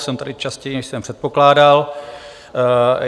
Jsem tady častěji, než jsem předpokládal.